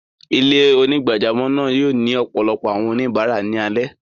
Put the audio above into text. Ilẹ̀-onígbàjàmọ́ náà yóò ni ọpọlọpọ̀ awọn oníbarà ni alẹ.